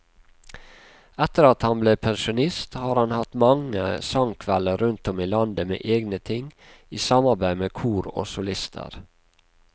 Etter at han ble pensjonist har han hatt mange sangkvelder rundt om i landet med egne ting, i samarbeid med kor og solister.